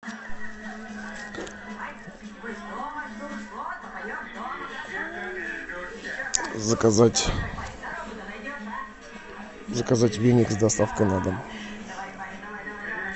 заказать заказать веник с доставкой на дом